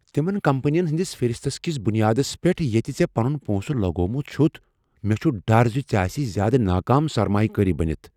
تمن کمپنین ہٕنٛدس فہرست کس بنیادس پیٹھ ییٚتہ ژےٚ پنن پونٛسہٕ لگوومت چھتھ، مےٚ چھ ڈر ز ژےٚ آسہ زیٛادٕ ناکام سرمایہ کٲری بٔنِتھ ۔